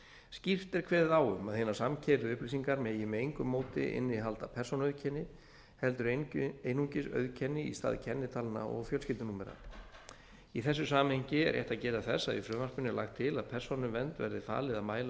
skýrt er kveðið á um að hinar samkeyrðu upplýsingar megi með engu móti innihalda persónuauðkenni heldur einungis auðkenni í stað kennitalna og fjölskyldunúmera í þessu samhengi er rétt að geta þess að í frumvarpinu er lagt til að persónuvernd verði falið að mæla